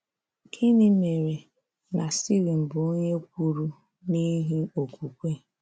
Gịnị mere na Stivin bụ onye kwuru n'ihi okwukwe?